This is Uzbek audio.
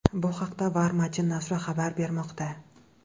Bu haqda Var-Matin nashri xabar bermoqda .